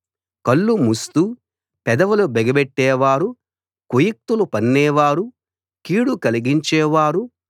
కళ్ళు మూస్తూ పెదవులు బిగబట్టేవారు కుయుక్తులు పన్నేవారు కీడు కలిగించే వారు